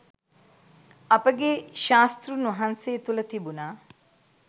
අපගේ ශාස්තෘන් වහන්සේ තුළ තිබුණා